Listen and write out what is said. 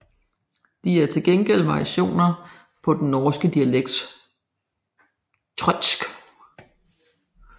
De er til gengæld varianter af den norske dialekt trøndersk